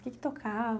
O que é que tocava?